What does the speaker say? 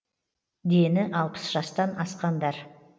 дені алпыс жастан асқандар